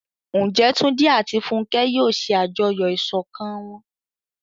Ǹjẹ́ Túndé àti Fúnkẹ́ yóò ṣe àjọyọ̀ ìṣọ̀kan wọn?